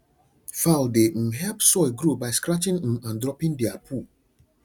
fowl dey um help soil grow by scratching um and dropping their poo